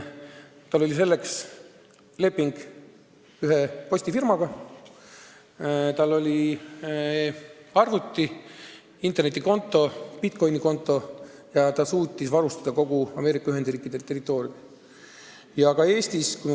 Tal oli selleks leping ühe postifirmaga, tal oli arvuti, internetikonto ja bitcoin'ide konto ning ta suutis varustada kogu Ameerika Ühendriikide territooriumi.